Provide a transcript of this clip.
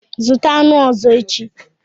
Zụta aṅụ ọzọ echi.